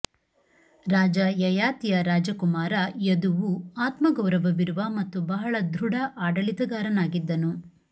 ರಾಜ ಯಯಾತಿಯ ರಾಜಕುಮಾರ ಯದುವು ಆತ್ಮಗೌರವವಿರುವ ಮತ್ತು ಬಹಳ ದೃಢ ಆಡಳಿತಗಾರನಾಗಿದ್ದನು